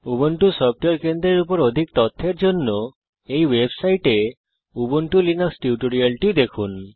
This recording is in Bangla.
উবুন্টু সফটওয়্যার কেন্দ্রের উপর অধিক তথ্যের জন্য এই ওয়েবসাইটে উবুন্টু লিনাক্স টিউটোরিয়াল দেখুন